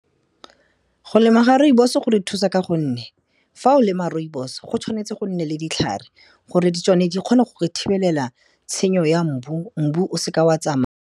Go lema ga rooibos-o go re thusa ka gonne, fa o lema rooibos-o, go tshwanetse go nne le ditlhare gore di tsone di kgone go re thibelela tshenyo ya mbu, mbu o seka wa tsamaya.